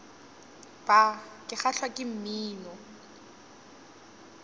bar ke kgahlwa ke mmino